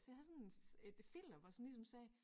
Så jeg havde sådan et filter hvor jeg sådan ligesom sagde